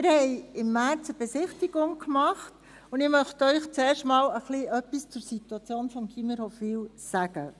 Wir machten im März eine Besichtigung, und ich möchte Ihnen zuerst etwas zur Situation des Gymnasiums Hofwil sagen.